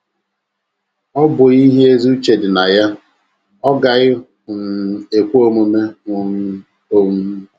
Ọ bụghị ihe ezi uche dị na ya, ọ gaghị um ekwe omume um. um ”